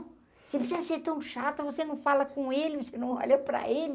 Você precisa ser tão chata, você não fala com ele, você não olha para ele,